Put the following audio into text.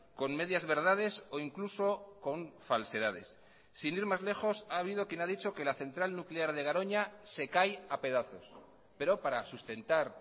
con medias verdades o incluso con falsedades sin ir más lejos ha habido quien ha dicho que la central nuclear de garoña se cae a pedazos pero para sustentar